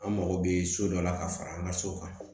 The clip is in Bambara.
An mago bɛ so dɔ la ka fara an ka so kan